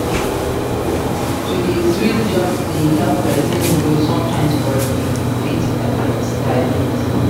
To dey switch jobs dey help pesin grow sometimes but e fit affect stability.